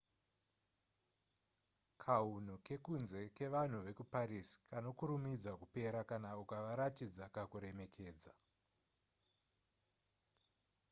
kahunu kekunze kevanhu vekuparis kanokurumidza kupera kana ukavaratidza kakuremekedza